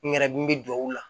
N yɛrɛ n bɛ duwawu la